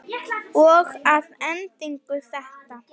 Og að endingu þetta.